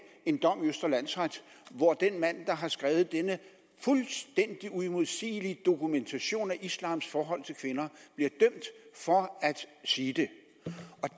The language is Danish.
en dom i østre landsret hvor den mand der har skrevet denne fuldstændig uimodsigelige dokumentation af islams forhold til kvinder bliver dømt for at sige det